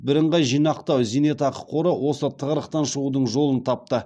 бірынғай зейнетақы жинақтау қоры осы тығырықтан шығудың жолын тапты